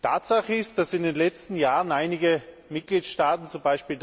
Tatsache ist, dass in den letzten Jahren einige Mitgliedstaaten, z.